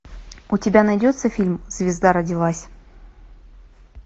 у тебя найдется фильм звезда родилась